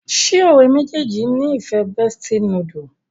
ṣe ọ̀rẹ́ méjèèjì ní ìfẹ bestie noodle?